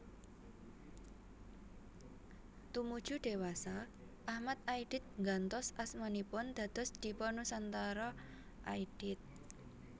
Tumuju dewasa Achmad Aidit nggantos asmanipun dados Dipa Nusantara Aidit